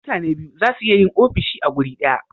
mutane biyu zasu iya Yin ofishi a guri daya